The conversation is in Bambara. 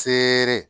Feere